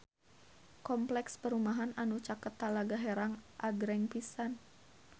Kompleks perumahan anu caket Talaga Herang agreng pisan